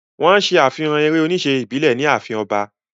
Wọ́n ṣe àfihàn eré-oníṣe ìbílẹ̀ ní ààfin ọba.